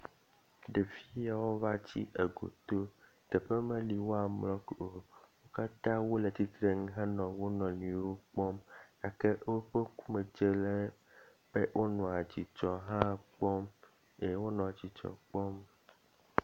Ɖevi yawo va tsi egoto, nɔƒe meli woamlɔ o. Wo katã wole tsitrenu hele wo nɔ nɔewo kpɔm gake woƒe ŋkume hã dze le, wonɔa dzidzɔ hã kpɔm, wonɔ dzidzɔ kpɔm.